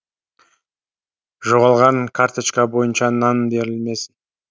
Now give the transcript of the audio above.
жоғалған карточка бойынша нан берілмесін